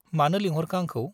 मानो लोंहरखो आंखौ ?